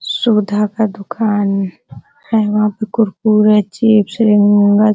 सुधा का दुकान है वहां पे कुरकुरे चिप्स उम्म --